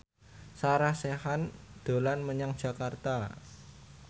Sarah Sechan dolan menyang Jakarta